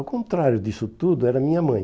Ao contrário disso tudo, era minha mãe.